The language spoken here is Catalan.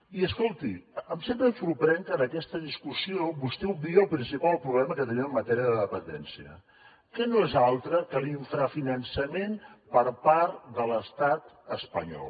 i escolti sempre em sorprèn que en aquesta discussió vostè obvia el principal problema que tenim en matèria de dependència que no és altre que l’infrafinançament per part de l’estat espanyol